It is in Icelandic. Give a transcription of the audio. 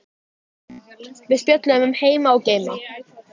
Við spjölluðum um heima og geima.